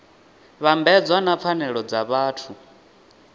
vhambedzwa na pfanelo dza vhathu